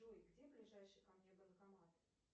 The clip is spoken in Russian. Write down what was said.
джой где ближайший ко мне банкомат